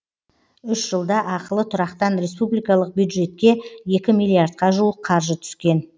үш жылда ақылы тұрақтан республикалық бюджетке екі миллиардқа жуық қаржы түскен